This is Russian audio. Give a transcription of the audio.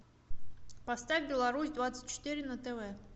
поставь беларусь двадцать четыре на тв